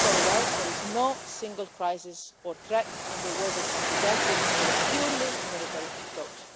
We know very well that there is no single crisis or threat in the world that can be dealt with through a purely military approach.